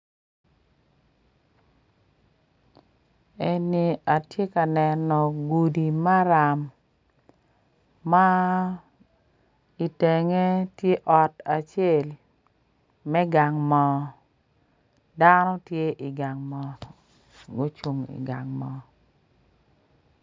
Eni atye ka neno gudi maram ma itenge tye ot acel me gang moo dano tye igang moo gucung igang moo.